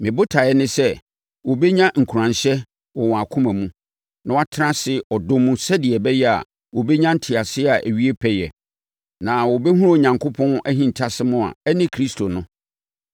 Me botaeɛ ne sɛ, wɔbɛnya nkuranhyɛ wɔ wɔn akoma mu na wɔatena ase ɔdɔ mu sɛdeɛ ɛbɛyɛ a, wɔbɛnya nteaseɛ a ɛwie pɛyɛ. Na wɔbɛhunu Onyankopɔn ahintasɛm a ɛne Kristo no.